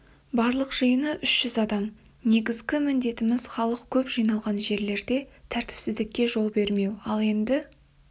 барлық жиыны үш жүз адам негізгі міндетіміз халық көп жиналған жерлерде тәртіпсіздікке жол бермеу ал енді